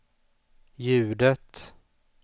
ljudet